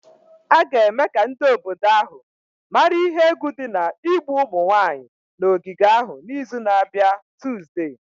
A ga-eme ka ndị obodo ahụ mara ihe egwu dị n'igbu ụmụ nwanyị n'ogige ahụ n'izu na-abịa Tuzdee.